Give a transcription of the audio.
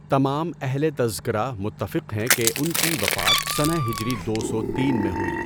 تمام اہلِ تذکرہ متفق ہیں کہ ان کی وفات سنہ ہجری دو سو تین میں ہوئی۔